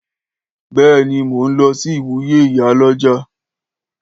Béèni, mó ń lọsí ìwúyè ìyálọ́jà